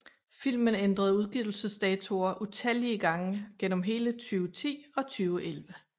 Filmen ændrede udgivelsesdatoer utallige gange gennem hele 2010 og 2011